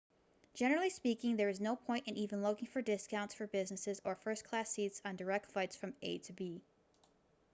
generally speaking there is no point in even looking for discounts for business or first-class seats on direct flights from a to b